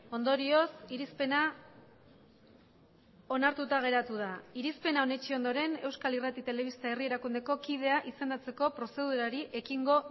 ondorioz irizpena onartuta geratu da irizpena onetsi ondoren euskal irrati telebista herri erakundeko kidea izendatzeko prozedurari ekingo